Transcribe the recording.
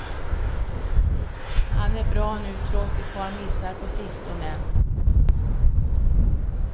Han är bra nu trots ett par missar på sistone.